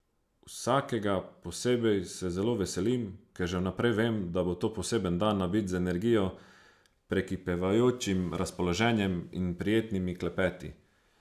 Vsakega posebej se zelo veselim, ker že vnaprej vem, da bo to poseben dan, nabit z energijo, prekipevajočim razpoloženjem in prijetnimi klepeti.